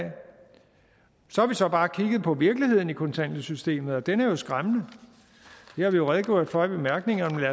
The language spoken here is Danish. så har vi så bare kigget på virkeligheden i kontanthjælpssystemet og den er jo skræmmende det har vi redegjort for i bemærkningerne men